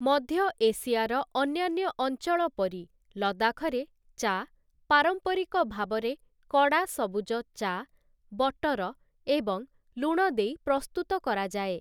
ମଧ୍ୟ ଏସିଆର ଅନ୍ୟାନ୍ୟ ଅଞ୍ଚଳ ପରି, ଲଦାଖରେ ଚା' ପାରମ୍ପରିକ ଭାବରେ କଡ଼ା ସବୁଜ ଚା', ବଟର ଏବଂ ଲୁଣ ଦେଇ ପ୍ରସ୍ତୁତ କରାଯାଏ ।